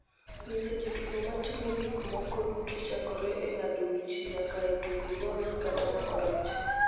nyiso jotugo ma timo gik moko duto chakore e ng�ado wich nyaka e tugo golf kata mako rech.